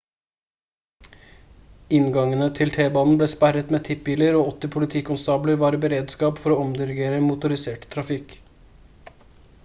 inngangene til t-banen ble sperret med tippbiler og 80 politikonstabler var i beredskap for å omdirigere motorisert trafikk